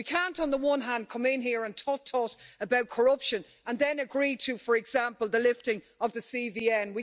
We can't, on the one hand, come in here and talk about corruption and then agree to, for example, the lifting of the CBN.